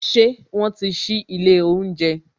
Ṣé wọn ti sí ilé oúnjẹ